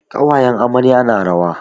Ƙawayen amarya na rawa.